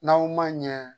N'aw ma ɲɛ